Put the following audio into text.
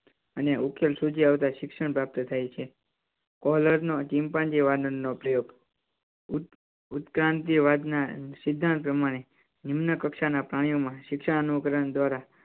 અને ઉકેલ સૂજી આવતા શિક્ષણ પ્રાપ્ત થાય છે. નો ચિંપાંજી વાનર નો પ્રયોગ ઉત્ક્રાંતિ વાદ ના સિદ્ધાંત પ્રમાણે નિમ્ન કક્ષા ના પ્રાણીઓ માં શિક્ષા અનુકરણ દ્વારા